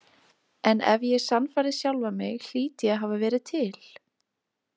En ef ég sannfærði sjálfan mig hlýt ég að hafa verið til.